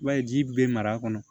I b'a ye ji bɛ mara a kɔnɔ